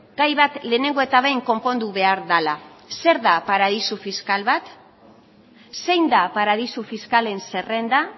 gai bat lehenengo eta behin konpondu behar dela zer da paradisu fiskal bat zein da paradisu fiskalen zerrenda